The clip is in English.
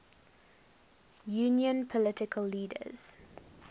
union political leaders